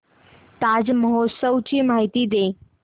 ताज महोत्सव ची माहिती दे